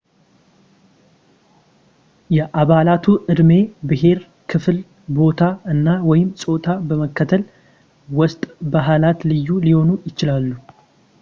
የአባላቱ ዕድሜ፣ ብሔር፣ ክፍል፣ ቦታ፣ እና/ወይም ጾታ በመከተል ውስጠ ባህላት ልዩ ሊሆኑ ይችላሉ